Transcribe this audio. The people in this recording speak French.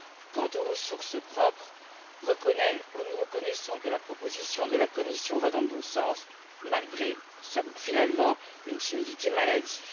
Quant aux ressources propres, nous reconnaissons que la proposition de la Commission va dans le bon sens malgré, finalement, une timidité maladive.